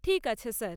ঠিক আছে স্যার।